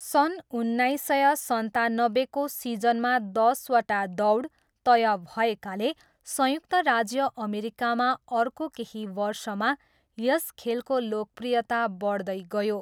सन् उन्नाइस सय सन्तानब्बेको सिजनमा दसवटा दौड तय भएकाले संयुक्त राज्य अमेरिकामा अर्को केही वर्षमा यस खेलको लोकप्रियता बढ्दै गयो।